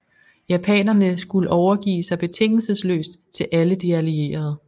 Japanerne skulle overgive sig betingelsesløst til alle de allierede